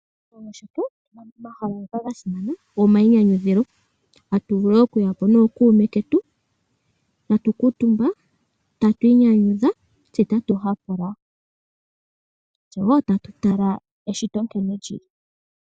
Pomahala ngoka gasimana goma inyanyudhilo, atuvulu okuyapo nookuume ketu, atu kuutumba, tatu iinyanyudha tse tatu hapula, tse woo tatu tala eshito nkene lyili.